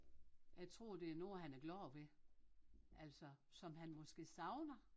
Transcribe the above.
Jeg tror det er nogen han er glade ved altså som han måske savner